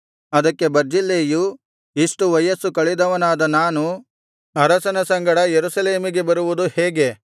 ಅದಕ್ಕೆ ಬರ್ಜಿಲ್ಲೈಯು ಇಷ್ಟು ವಯಸ್ಸು ಕಳೆದವನಾದ ನಾನು ಅರಸನ ಸಂಗಡ ಯೆರೂಸಲೇಮಿಗೆ ಬರುವುದು ಹೇಗೆ